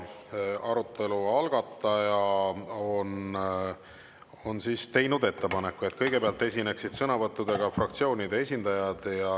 Arutelu algataja on teinud ettepaneku, et kõigepealt esineksid sõnavõttudega fraktsioonide esindajad.